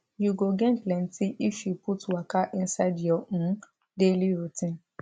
you go gain plenty if you put waka inside your um daily routine